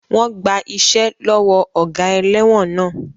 Wọ́n gba iṣẹ́ lọ́wọ́ ọ̀gá ẹlẹ́wọ̀n náà.